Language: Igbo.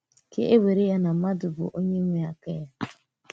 Kà e wèrè ya na mmádụ bụ onye nwe aka ya.